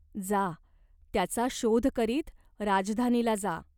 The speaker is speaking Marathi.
जा त्याचा शोध करीत. राजधानीला जा.